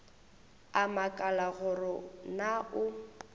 a makala gore na o